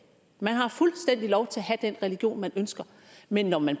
man har fuldstændig lov til at have den religion man ønsker men når man